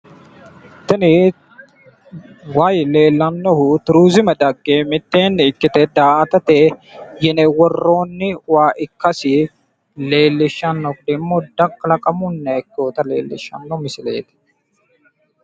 tini wayi leellannohu tuuriziime dagge mitteeni ikkite daa"atate yine worrooni waa ikkasi leellishshanno muuda kalaaqamunniha ikkewota leellishanno misileeti.